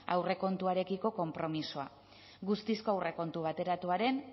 aurrekontuarekiko konpromisoa guztizko aurrekontu bateratuaren